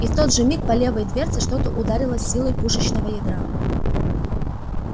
и в тот же миг по левой дверце что-то ударило с силой пушечного ядра